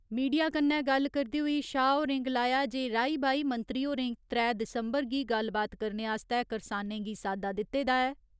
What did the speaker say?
Media कन्नै गल्ल करदे होई शाह होरें गलाया जे राई बाई मंत्री होरें त्रै दिसम्बर गी गल्लबात करने आस्तै करसानें गी सादा दित्ते दा ऐ।